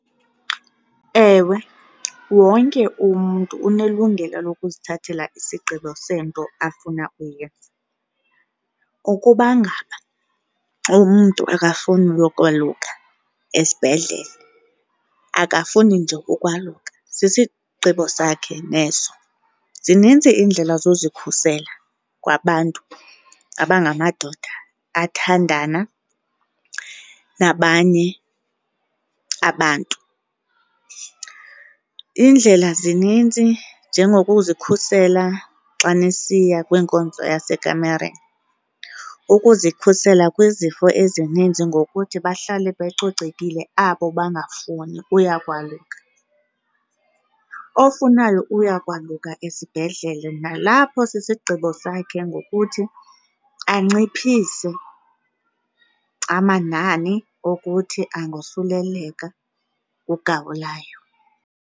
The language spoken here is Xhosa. Ewe, wonke umntu unelungelo lokuzithathela isigqibo sento afuna uyenza. Ukuba ngaba umntu akafuni uyokwaluka esibhedlele akafuni nje ukwaluka sisigqibo sakhe neso. Zininzi iindlela zozikhusela kwabantu abangamadoda athandana nabanye abantu. Iindlela zininzi njengokuzikhusela xa nisiya kwinkonzo yase kamereni, ukuzikhusela kwizifo ezininzi ngokuthi bahlale becocekile abo bangafuni uya kwaluka. Ofunayo uya kwaluka esibhedlele nalapho sisigqibo sakhe ngokuthi anciphise amanani okuthi angosuleleka ngugawulayo.